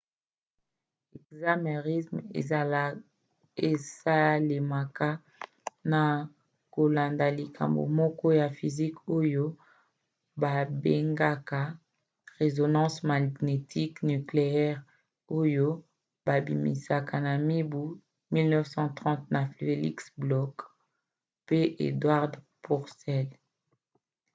ekzame irm esalemaka na kolanda likambo moko ya physique oyo babengaka résonance magnétique nucléaire rmn oyo babimisaki na mibu 1930 na felix bloch oyo asalaka na université ya stanford pe edward purcell ya université ya harvard